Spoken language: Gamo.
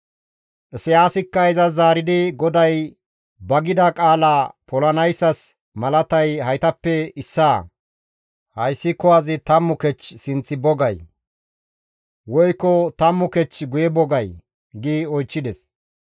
Isayaasikka izas zaaridi, «GODAY ba gida qaalaa polanayssas malatay haytappe issaa; hayssi kuwazi 10 kech sinth bo gay? Woykko tammu kech guye bo gay?» gi oychchides.